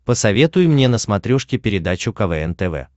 посоветуй мне на смотрешке передачу квн тв